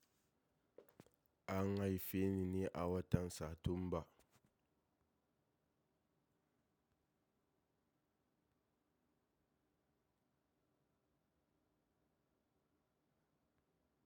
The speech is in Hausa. An haife ni ne a watan Satumba.